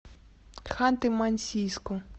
ханты мансийску